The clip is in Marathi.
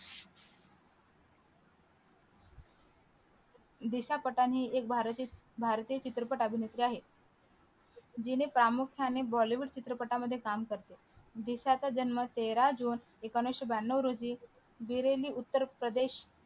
दिशा पटानि एक भारतीय अभिनेत्री आहे जिने प्रामुख्याने बॉलीवूड चित्रपटामध्ये काम करते दिशा चा जन्म तेरा जुने एकोणविशे ब्यानो रोजी बिरेली उत्तर प्रदेश